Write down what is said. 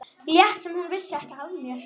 Lét sem hún vissi ekki af mér.